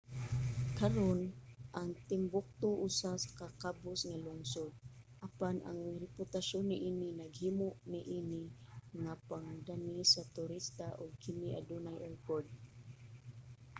karon ang timbuktu usa ka kabus nga lungsod apan ang reputasyon niini naghimo niini nga pangdani sa turista ug kini adunay airport